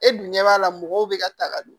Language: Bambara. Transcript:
E dun ɲɛ b'a la mɔgɔw be ka ta ka don